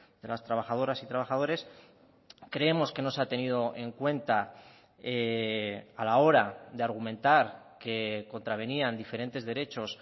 de las trabajadoras y trabajadores creemos que no se ha tenido en cuenta a la hora de argumentar que contravenían diferentes derechos